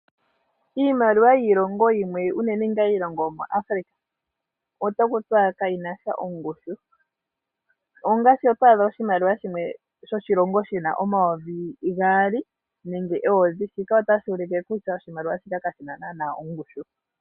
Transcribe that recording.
Iimaliwa yiilongo yimwe unene ngaa iilongo yomuAfrica ota ku tiwa ka yi nasha ongushu. Ongaashi oto adha oshimaliwa shimwe shoshilongo shina omayovi gaali nenge eyovi, shika otashi ulike kutya oshimaliwa shika ka shi na naanaa ongushu.